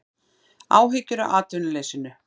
Áhyggjur af atvinnuleysinu